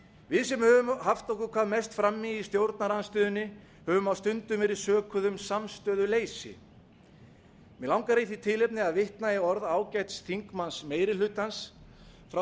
við sem höfum haft okkur hvað mest í frammi í stjórnarandstöðunni höfum á stundum verið sökuð um samstöðuleysi mig langar í því tilefni að vitna í orð ágæts þingmanns meiri hlutans frá